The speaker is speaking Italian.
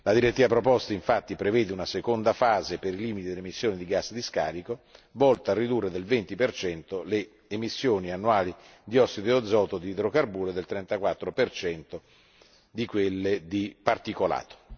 La direttiva proposta infatti prevede una seconda fase per limiti di emissioni di gas di scarico volta a ridurre del 20 le emissioni annuali di ossido e azoto di idrocarburo, e del 34 di quelle di particolato.